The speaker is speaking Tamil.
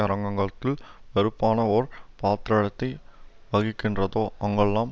அரங்கத்தில் பொறுப்பான ஓர் பாத்திரத்தை வகிக்கின்றதோ அங்கெல்லாம்